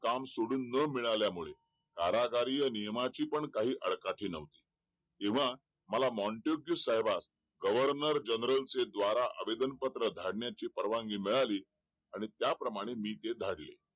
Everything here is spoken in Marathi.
काम सोडून ना मिळाल्यामुळे कारागिरी या नियमाची पण काही अडकाची नव्हती किंवा मला साहेबास governor general से द्वारा आवेदन पत्र धाडण्याची परवानगी मिळाली आणि त्या प्रमाणे मी ते धाडले